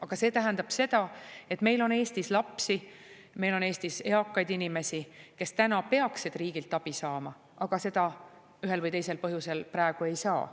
Aga see tähendab seda, et meil on Eestis lapsi, meil on Eestis eakaid inimesi, kes peaksid riigilt abi saama, aga seda ühel või teisel põhjusel praegu ei saa.